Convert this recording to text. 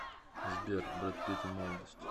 сбер брэд питт в молодости